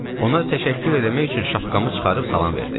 Ona təşəkkür eləmək üçün şapkamı çıxarıb salam verdim.